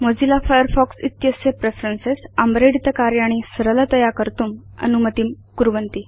Mozilla Firefox इत्यस्य preferences आम्रेडितकार्याणि सरलतया कर्तुम् अनुमतिं करोति